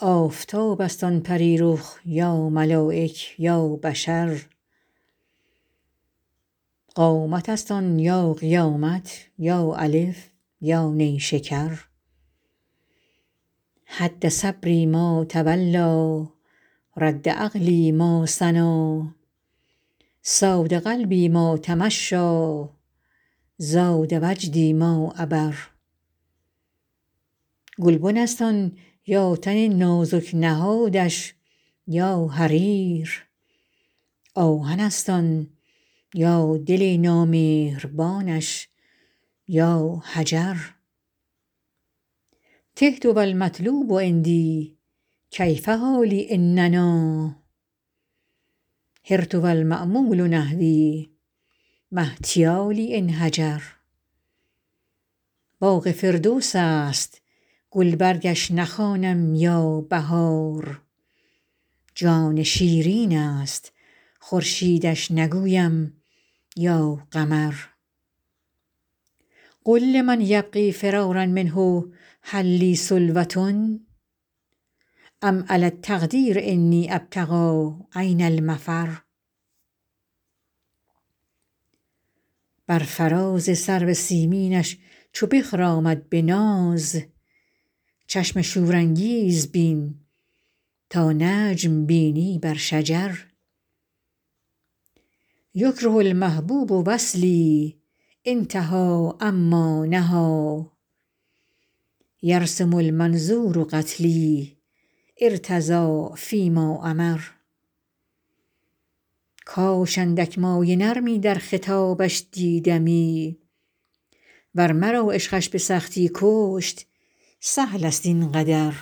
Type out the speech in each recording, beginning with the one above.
آفتاب است آن پری رخ یا ملایک یا بشر قامت است آن یا قیامت یا الف یا نیشکر هد صبری ما تولیٰ رد عقلی ما ثنیٰ صاد قلبی ما تمشیٰ زاد وجدی ما عبر گلبن است آن یا تن نازک نهادش یا حریر آهن است آن یا دل نامهربانش یا حجر تهت و المطلوب عندی کیف حالی إن نأیٰ حرت و المأمول نحوی ما احتیالی إن هجر باغ فردوس است گلبرگش نخوانم یا بهار جان شیرین است خورشیدش نگویم یا قمر قل لمن یبغی فرارا منه هل لی سلوة أم علی التقدیر أنی أبتغي أین المفر بر فراز سرو سیمینش چو بخرامد به ناز چشم شورانگیز بین تا نجم بینی بر شجر یکره المحبوب وصلی أنتهي عما نهیٰ یرسم المنظور قتلی أرتضی فی ما أمر کاش اندک مایه نرمی در خطابش دیدمی ور مرا عشقش به سختی کشت سهل است این قدر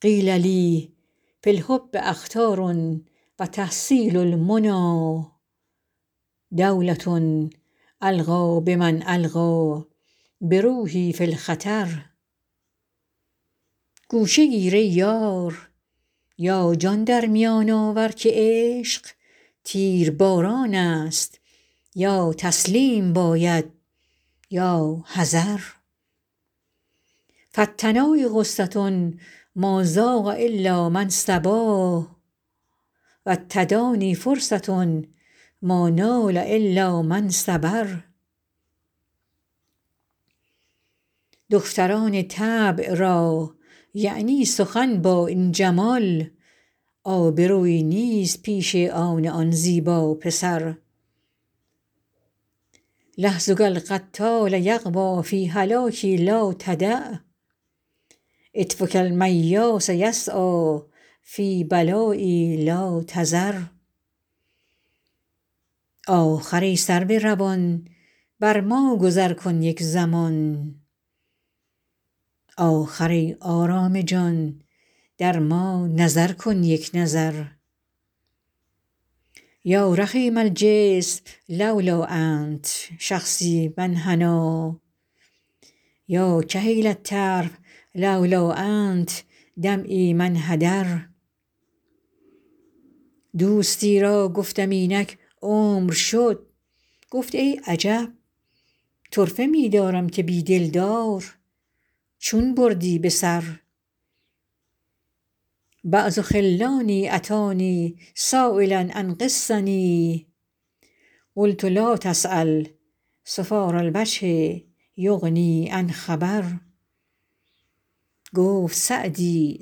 قیل لی فی الحب أخطار و تحصیل المنیٰ دولة ألقی بمن ألقیٰ بروحی فی الخطر گوشه گیر ای یار یا جان در میان آور که عشق تیرباران است یا تسلیم باید یا حذر فالتنایی غصة ما ذاق إلا من صبا و التدانی فرصة ما نال إلا من صبر دختران طبع را یعنی سخن با این جمال آبرویی نیست پیش آن آن زیبا پسر لحظک القتال یغوی فی هلاکی لا تدع عطفک المیاس یسعیٰ فی بلایی لا تذر آخر ای سرو روان بر ما گذر کن یک زمان آخر ای آرام جان در ما نظر کن یک نظر یا رخیم الجسم لولا أنت شخصی ما انحنیٰ یا کحیل الطرف لولا أنت دمعی ما انحدر دوستی را گفتم اینک عمر شد گفت ای عجب طرفه می دارم که بی دلدار چون بردی به سر بعض خلانی أتانی سایلا عن قصتی قلت لا تسأل صفار الوجه یغنی عن خبر گفت سعدی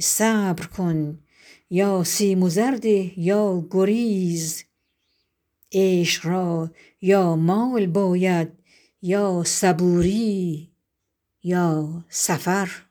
صبر کن یا سیم و زر ده یا گریز عشق را یا مال باید یا صبوری یا سفر